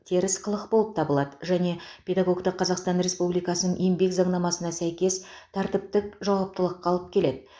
теріс қылық болып табылады және педагогті қазақстан республикасының еңбек заңнамасына сәйкес тәртіптік жауаптылыққа алып келеді